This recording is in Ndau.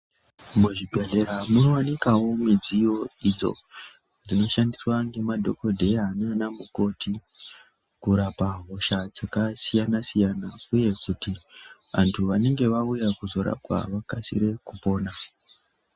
Muzvibhedhlera munovanikavo midziyo idzo dzinoshandiswavo nemadhogodheya nana mukoti kurapa hosha dzakasiyana-siyana, uye kuti vantu vanonga vauya kuzorapwa vakasire kupona.